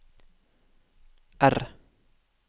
R